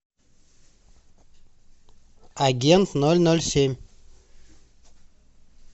агент ноль ноль семь